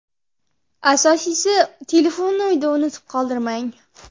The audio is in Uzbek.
Asosiysi telefonni uyda unutib qoldirmang.